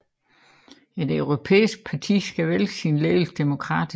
Et europæisk parti skal vælge sin ledelse demokratisk